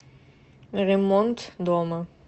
ремонтдома